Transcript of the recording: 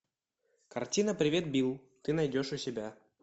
картина привет билл ты найдешь у себя